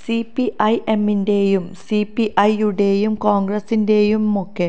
സിപിഐഎമ്മിന്റെയും CPI യുടെയും കോണ്ഗ്രസ്സിന്റെയുമൊക്ക